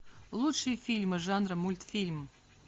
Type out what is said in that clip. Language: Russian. лучшие фильмы жанра мультфильм